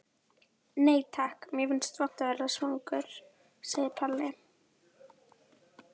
Nei takk, mér finnst vont að vera svangur, segir Palli.